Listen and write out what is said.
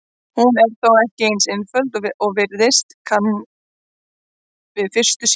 Hún er þó ekki eins einföld og virðast kann við fyrstu sýn.